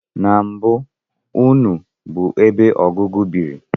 Na mbụ, nnu bụ ebe ọgụgụ biri